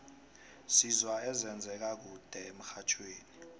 sizwa ezenze ka kude emxhajhewi